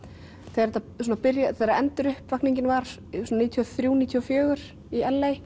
þegar var svona níutíu og þrjú níutíu og fjögur í